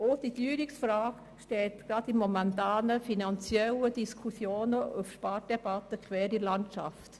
Zudem steht die Teuerungsfrage gerade angesichts der momentanen finanziellen Diskussionen und Spardebatten quer in der Landschaft.